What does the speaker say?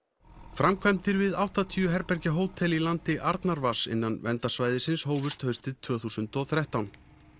framkvæmdir við áttatíu herbergja hótel í landi innan verndarsvæðisins hófust haustið tvö þúsund og þrettán